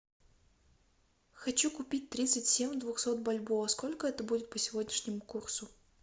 хочу купить тридцать семь двухсот бальбоа сколько это будет по сегодняшнему курсу